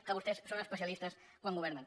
que vostès són especia listes quan governen